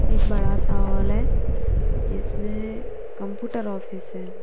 एक बड़ा सा हॉल है जिसमें कंप्यूटर ऑफिस है।